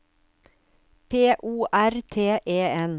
P O R T E N